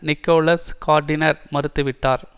Nicolas Gardiner மறுத்து விட்டார்